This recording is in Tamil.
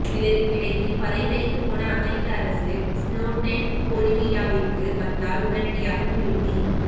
இதற்கிடையில் பதைதைத்துப்போன அமரிக்க அரசு ஸ்னோடென் போலிவியாவிற்கு வந்தால் உடனடியாகத் திருப்பி